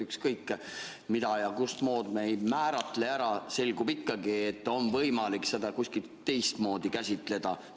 Ükskõik, mida ja kus me ka ei määratle, selgub ikkagi, et on võimalik seda kuidagi teistmoodi käsitleda.